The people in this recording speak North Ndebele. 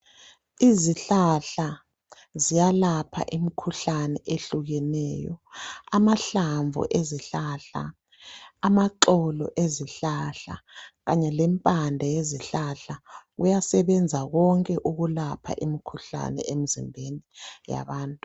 Izihlahla ziyalapha imikhuhlane ehlukeneyo amahlamvu ezihlahla, amaxolo ezihlahla Kanye lempande yezihlahla kuyasebenza konke ukulapha imikhuhlane emzimbeni yabantu